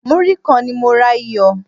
Múrí kan ni mo ra iyọ̀.